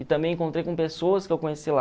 E também encontrei com pessoas que eu conheci lá.